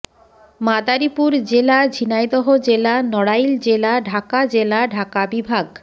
মাদারীপুর জেলা ঝিনাইদহ জেলা নড়াইল জেলা ঢাকা জেলা ঢাকা বিভাগ